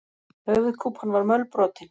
Höfuðkúpan var mölbrotin.